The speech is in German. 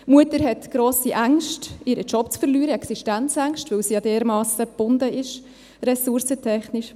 Die Mutter hat grosse Ängste, ihren Job zu verlieren, Existenzängste, weil sie ja dermassen gebunden ist, ressourcentechnisch.